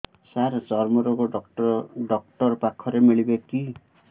ସାର ଚର୍ମରୋଗ ଡକ୍ଟର ପାଖରେ ମିଳିବେ କି